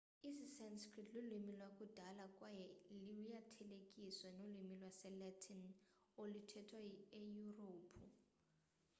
isisanskrit lulwimi lwakudala kwaye luyathelekiseka nolwimi lwesilatin oluthethwa eyurophu